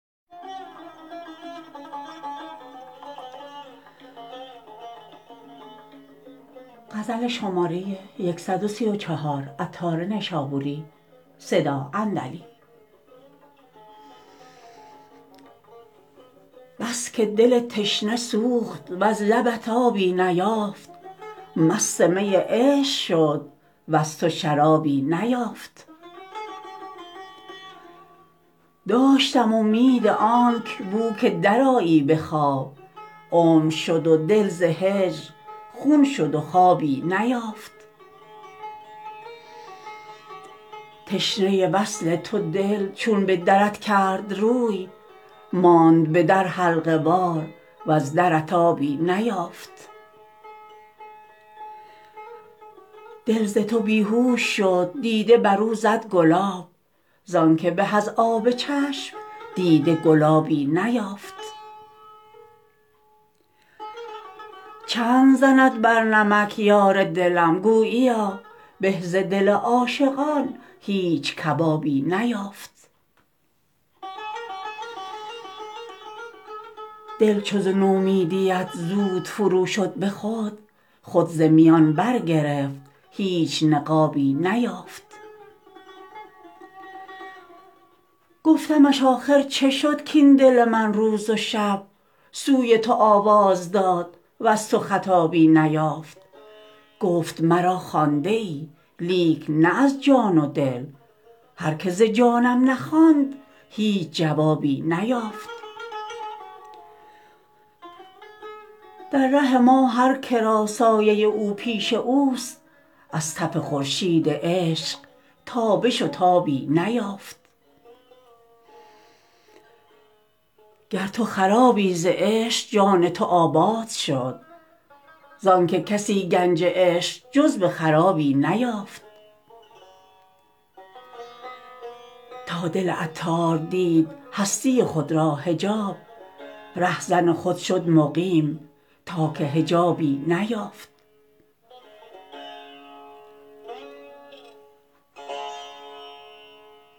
بس که دل تشنه سوخت وز لبت آبی نیافت مست می عشق شد وز تو شرابی نیافت داشتم امید آنک بو که درآیی به خواب عمر شد و دل ز هجر خون شد و خوابی نیافت تشنه وصل تو دل چون به درت کرد روی ماند به در حلقه وار وز درت آبی نیافت دل ز تو بیهوش شد دیده برو زد گلاب زانکه به از آب چشم دیده گلابی نیافت چند زند بر نمک یار دلم گوییا به ز دل عاشقان هیچ کبابی نیافت دل چو ز نومیدیت زود فرو شد به خود خود ز میان برگرفت هیچ نقابی نیافت گفتمش آخر چه شد کاین دل من روز و شب سوی تو آواز داد وز تو خطابی نیافت گفت مرا خوانده ای لیک نه از جان و دل هر که ز جانم نخواند هیچ جوابی نیافت در ره ما هر که را سایه او پیش اوست از تف خورشید عشق تابش و تابی نیافت گر تو خرابی ز عشق جان تو آباد شد زان که کسی گنج عشق جز به خرابی نیافت تا دل عطار دید هستی خود را حجاب رهزن خود شد مقیم تا که حجابی نیافت